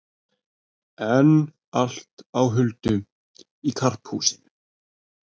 Enn allt á huldu í Karphúsinu